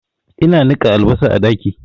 Ina niƙa albasan a ɗaki